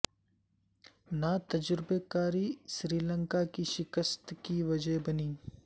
ناتجربہ کاری سری لنکا کی شکست کی وجہ بنی